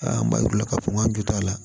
an b'a yir'u la k'a fɔ k'an jɔ t'a la